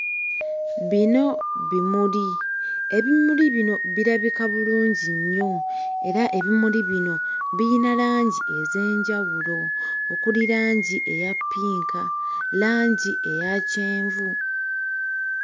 Bino bimuli ebimuli bino birabika bulungi nnyo era ebimuli bino biyina langi ez'enjawulo okuli langi eya ppinka langi eya kyenvu.